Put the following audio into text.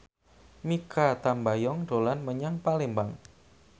Mikha Tambayong dolan menyang Palembang